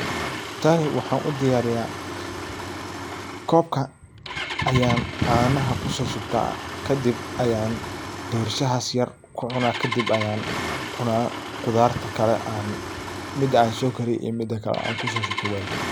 Tani waxan u diyarya kobka ayan canaha kuso shubta kadib ayan dorshahas yar kucuna ,kadib ayan khudaarta mida an sokariye iyo mida kale aan kuso shubta welka.